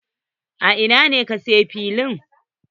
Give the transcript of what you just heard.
A ina ne ka sayo fili?